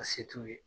A se t'u ye